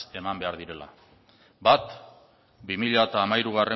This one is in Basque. eman behar direla bat bi mila hamairugarrena